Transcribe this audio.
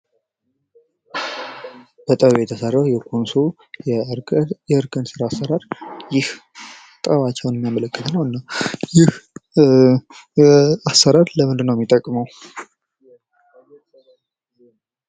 በጥበብ የተሰራው የኮንሶ የእርከን ስራ አሰራር ይህ ጥበባቸውን የሚያመላክት ነው። ይህ አሰራር ለምንድነው የሚጠቅመው?